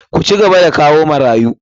Ku cigaba da kawo marayu!